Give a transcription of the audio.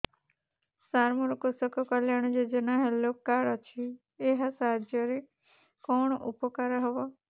ସାର ମୋର କୃଷକ କଲ୍ୟାଣ ଯୋଜନା ହେଲ୍ଥ କାର୍ଡ ଅଛି ଏହା ସାହାଯ୍ୟ ରେ କଣ ଉପକାର ହବ